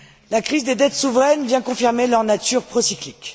La crise des dettes souveraines vient confirmer leur nature procyclique.